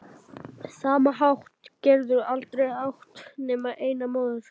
sama hátt geturðu aldrei átt nema eina móður.